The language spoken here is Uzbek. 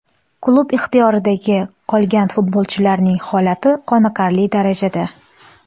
Klub ixtiyoridagi qolgan futbolchilarning holati qoniqarli darajada.